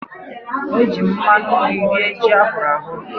E jiiri m mmanụ nri rie ji ahụrụ ahụ.